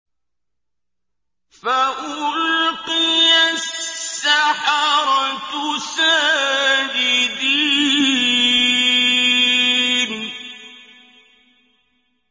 فَأُلْقِيَ السَّحَرَةُ سَاجِدِينَ